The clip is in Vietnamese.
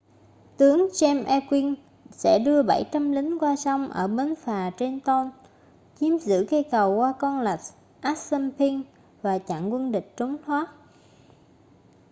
tướng james ewing sẽ đưa 700 lính qua sông ở bến phà trenton chiếm giữ cây cầu qua con lạch assunpink và chặn quân địch trốn thoát